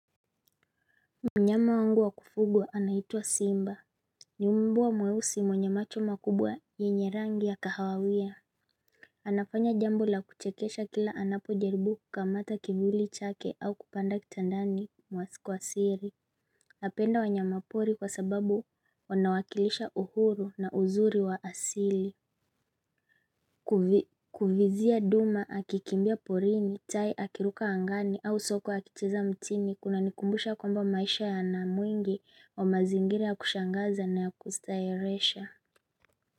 Mnyama wangu wa kufugwa anaitwa Simba Nyumbwa mweusi mwenye macho makubwa yenye rangi ya kahawawia anafanya jambo la kuchekesha kila anapo jaribu kukamata kivuli chake au kupanda kitandani mwasiku wa siri napenda wanyama pori kwa sababu wanawakilisha uhuru na uzuri wa asili Kuvizia duma akikimbia porini, tai akiruka angani au sokwe akicheza mtini kuna nikumbusha kwamba maisha ya namwingi wa mazingira ya kushangaza na ya kustarehesha.